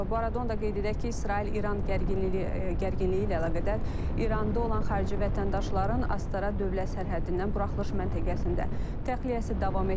Bu arada onu da qeyd edək ki, İsrail-İran gərginliyi gərginliyi ilə əlaqədar İranda olan xarici vətəndaşların Astara dövlət sərhəddindən buraxılış məntəqəsində təxliyəsi davam etdirilir.